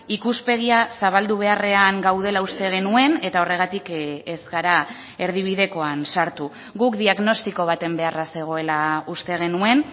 ikuspegia zabaldu beharrean gaudela uste genuen eta horregatik ez gara erdibidekoan sartu guk diagnostiko baten beharra zegoela uste genuen